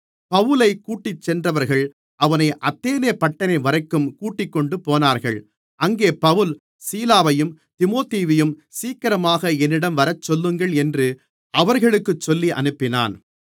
பவுலைக் கூட்டிச்சென்றவர்கள் அவனை அத்தேனே பட்டணம்வரைக்கும் கூட்டிக்கொண்டுபோனார்கள் அங்கே பவுல் சீலாவையும் தீமோத்தேயுவையும் சீக்கிரமாக என்னிடம் வரச் சொல்லுங்கள் என்று அவர்களுக்குச் சொல்லி அனுப்பினான்